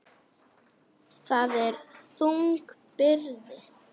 Það er þung byrði.